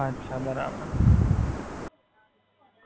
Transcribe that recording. અચ્છા, બરાબર.